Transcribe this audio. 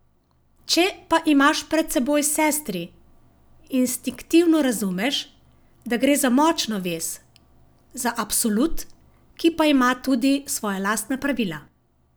Če pa imaš pred seboj sestri, instinktivno razumeš, da gre za močno vez, za absolut, ki pa ima tudi svoja lastna pravila.